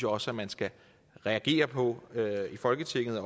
også man skal reagere på i folketinget